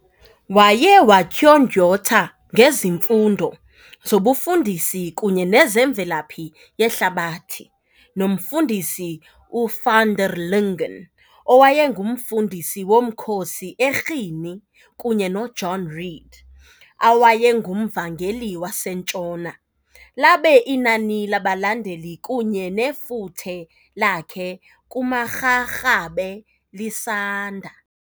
Waye watyondyotha ngezifundo zobufundisi kunye nezemvelaphi yehlabathi noMfundisi uVanderlingen owayenguMfundisi womkhosi eRhini kunye noJohn Read awayenguMvangeli wasentshona, labe inani labalandeli kunye nefuthe lakhe kumaRharhabe lisanda.